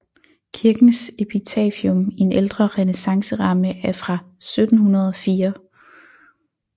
Kirkens epitafium i en ældre renæssanceramme er fra 1704